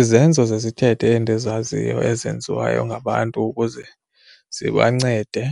Izenzo zesithethe endizaziyo ezenziwayo ngabantu ukuze zibancede